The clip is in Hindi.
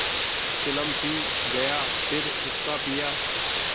चिलम पी गाया फिर हुक्का पिया